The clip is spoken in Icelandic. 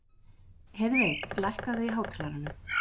Heiðveig, lækkaðu í hátalaranum.